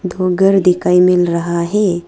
दो घर दिखाई मिल रहा है।